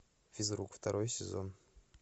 физрук второй сезон